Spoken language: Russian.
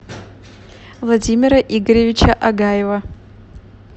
владимира игоревича агаева